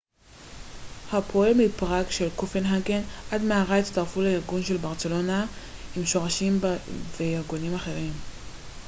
עם שורשים ב-running tours barcelona של ברצלונה ו-running copenhagen של קופנהגן עד מהרה הצטרפו לארגון running tours prague הפועל מפראג וארגונים אחרים